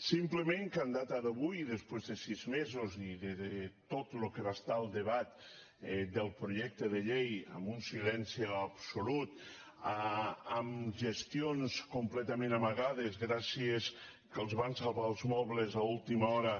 simplement que a data d’avui i després de sis mesos i de tot el que va ser el debat del projecte de llei amb un silenci absolut amb gestions completament amagades gràcies al fet que els van salvar els mobles a última hora